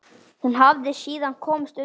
Hún hafi síðan komist undan.